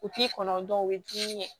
U t'i kɔnɔ u bɛ dumuni kɛ